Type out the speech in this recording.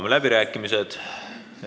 Avan läbirääkimised.